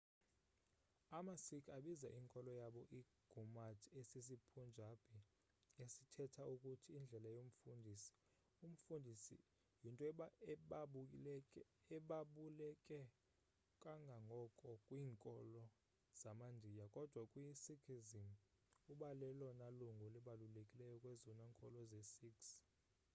ama-sikh abiza inkolo yabo i-gurmat esisi-punjabi esithetha ukuthi indlela yomfundisi umfundisi yinto ebabuleke kangangoko kwiinkolo zama-ndiya kodwa kwi-sikhism ubalelona lungu libalulekileyo kwezona nkolo zee-sikhs